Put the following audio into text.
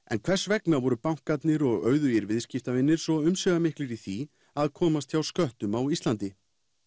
en hvers vegna voru íslensku bankarnir og auðugir viðskiptavinir svo umsvifamiklir í því að komast hjá sköttum á Íslandi